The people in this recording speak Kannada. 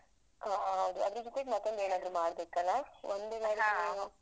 ಹಾ ಹೌದು. ಅದ್ರ ಜೊತೆಗ್ ಮತ್ತೊಂದು ಏನ್ ಆದ್ರು ಮಾಡ್ಬೇಕಲ್ಲಾ?